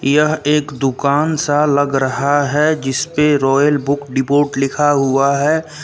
यह एक दुकान सा लग रहा है जिसपे रॉयल बुक डिपोट लिखा हुआ है।